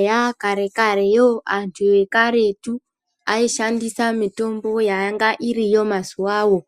Eya kare kare you antu ekaretu ayishandisa mitombo yanga iriyo mazuwawo